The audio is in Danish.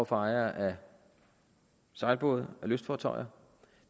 for ejere af sejlbåde af lystfartøjer